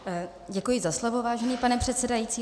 Děkuji za slovo, vážený pane předsedající.